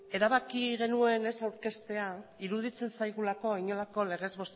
erabaki genuen ez aurkeztea iruditzen zaigulako inolako legez